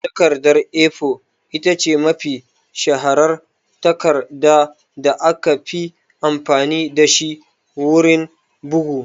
Takardar (A4) ita ce mafi shaharar takarda da aka fi amfani da shi wurin bugu